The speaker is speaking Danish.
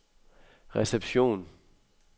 reception